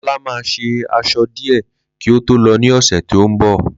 Lolá ma ṣe aṣọ dìé kí o tó lọ ní ọ̀sẹ̀ tí o nbọ